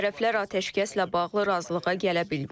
Tərəflər atəşkəslə bağlı razılığa gələ bilməyib.